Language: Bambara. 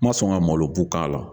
N ma sɔn ka malo bu k'a la.